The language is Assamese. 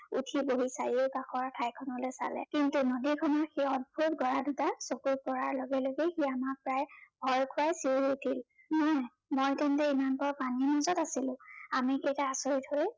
উঠি বহি চাৰিওকাষৰ ঠাইখনলৈ চালে। কিন্তু নদীৰ কাষৰ সেই অদ্ভূত গড়া দুটাত চকু পৰাৰ লগে লগে সি আমাক প্ৰায় ভয় খোৱাই চিঞৰি উঠিল, কি মই তেন্তে ইমান পৰে পানীৰ মাজত আছিলো? আমি কেইটা আচৰিত হৈ